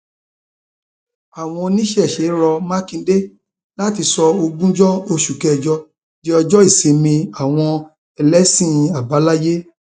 àwọn oníṣẹṣe rọ mákindé láti sọ ogúnjọ oṣù kẹjọ di ọjọ ìsinmi àwọn ẹlẹsìn àbáláyé